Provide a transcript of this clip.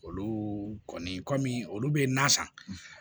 Olu kɔni kɔmi olu bɛ na san